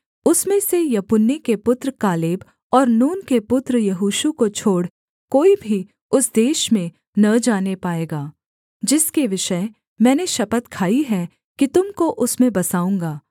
उसमें से यपुन्ने के पुत्र कालेब और नून के पुत्र यहोशू को छोड़ कोई भी उस देश में न जाने पाएगा जिसके विषय मैंने शपथ खाई है कि तुम को उसमें बसाऊँगा